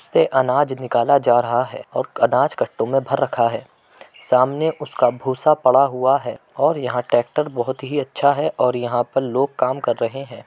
से अनाज निकाल जा रहा है और अनाज कट्टों मे भर रखा है सामने उसका भूसा पड़ा हुआ है और यहाँ टेक्टर बहुत ही अच्छा है और यहाँ पर लोग काम कर रहे हैं।